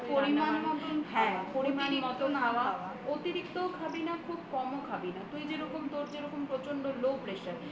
হ্যাঁ পরিমাণ মত খাওয়া অতিরিক্ত খাবি না খুব কমও খাবিনা তুই যেরকম তোর যেরকম প্রচন্ড low pressure